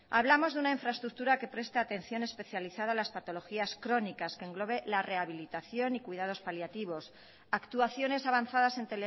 hablamos de una infraestructura que preste atención especializada a las patologías crónicas que englobe la rehabilitación y cuidados paliativos actuaciones avanzadas en